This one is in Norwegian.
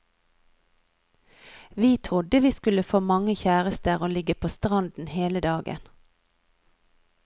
Vi trodde vi skulle få mange kjærester og ligge på stranden hele dagen.